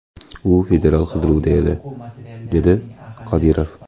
U federal qidiruvda edi”, dedi Qodirov.